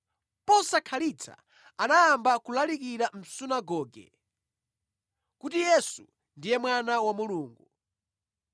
Posakhalitsa anayamba kulalikira mʼsunagoge kuti Yesu ndiye Mwana wa Mulungu.